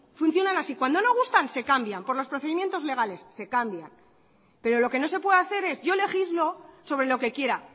cuando no gustan se cambian por los procedimientos legales se cambian pero lo que no se puede hacer es yo legislo sobre lo que quiera